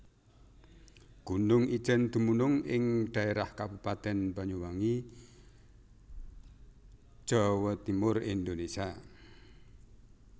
Gunung Ijen dumunung ing dhaérah Kabupaten Banyuwangi Jawa Timur Indonésia